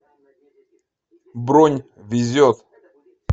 бронь везет